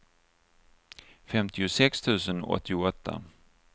femtiosex tusen åttioåtta